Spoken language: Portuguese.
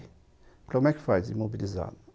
Falei, como é que faz imobilizado?